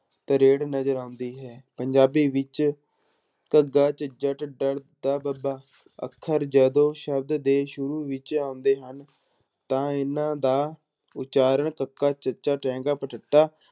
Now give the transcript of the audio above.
ਨਜ਼ਰ ਆਉਂਦੀ ਹੈ ਪੰਜਾਬੀ ਵਿੱਚ ਘੱਗਾ, ਝੱਝਾ, ਢੱਡਾ ਬੱਬਾ ਅੱਖਰ ਜਦੋਂ ਸ਼ਬਦ ਦੇ ਸ਼ੁਰੂ ਵਿੱਚ ਆਉਂਦੇ ਹਨ ਤਾਂ ਇਹਨਾਂ ਦਾ ਉਚਾਰਨ ਕੱਕਾ, ਚੱਚਾ, ਟੈਂਕਾ